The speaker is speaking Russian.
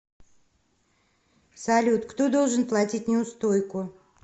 салют кто должен платить неустойку